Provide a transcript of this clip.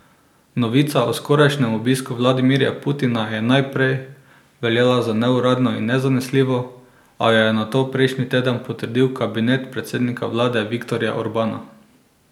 Novica o skorajšnjem obisku Vladimirja Putina je najprej veljala za neuradno in nezanesljivo, a jo je nato prejšnji teden potrdil kabinet predsednika vlade Viktorja Orbana.